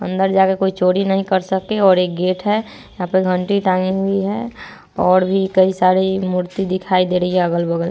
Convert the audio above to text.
अन्दर जाके कोई चोरी नही कर सके और एक गेट है यहाँ पे घंटी टंगी हुई है और भी कई सारी मूर्ति दिखाई दे रही अगल-बगल --